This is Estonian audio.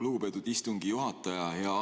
Lugupeetud istungi juhataja!